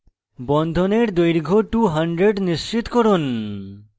বন্ধনের দৈর্ঘ্য 200 নিশ্চিত করুন